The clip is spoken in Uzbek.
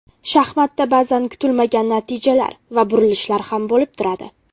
Shaxmatda ba’zan kutilmagan natijalar va burilishlar ham bo‘lib turadi.